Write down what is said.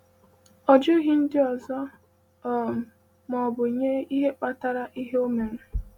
Ọ jụghị ndị ọzọ um ma ọ bụ nye ihe kpatara ihe o mere.